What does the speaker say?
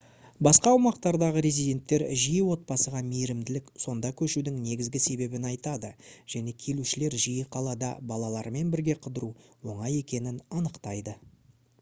басқа аумақтардағы резиденттер жиі отбасыға мейірімділік сонда көшудің негізгі себебін айтады және келушілер жиі қалада балалармен бірге қыдыру оңай екенін анықтайды